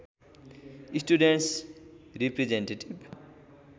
students representative